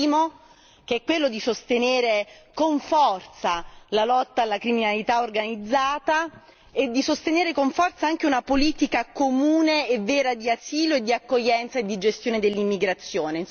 Il primo, è quello di sostenere con forza la lotta alla criminalità organizzata e di sostenere con forza anche una politica comune e vera d'asilo e di accoglienza e di gestione dell'immigrazione.